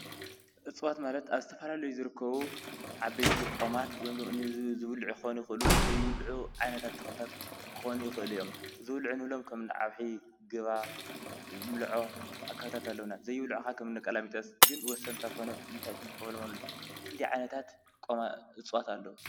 እፅዋት ማለት ኣብ ዝተፋላሉዩ ዝርከቡ ዓበይቲ ቖማት ወይም ድማኒ ዝብሉዒ ክኾኑ ይኽእሉ ዘይብሉዑ ዓይነታት ተኽልታት ክኾኑ ይኽእሉ እዮም። ዝብሉዕ ንብሎም ከምኒ ዓውሒ፣ ግባ፣ ምልዖ ኣብ ካብታት ኣለዉና። ዘይብሉዕኻ ኸም ነቀላሚጠስ ግን ወሰንታት ኮይነም እንታይ ንጥቀመሎም እዮም። ክንዲይ ዓይነታት እጽዋት ኣለዉ?